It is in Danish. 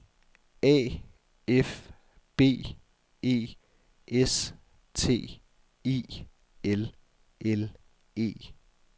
A F B E S T I L L E